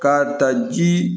K'a ta ji